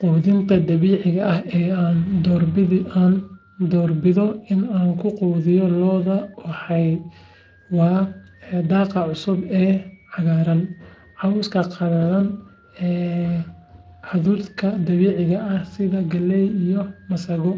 Quudinta dabiiciga ah ee aan doorbido in aan ku quudiyo lo'deyda waa daaqa cusub ee cagaaran, cawska qalalan, hadhuudhka dabiiciga ah sida galley iyo masago,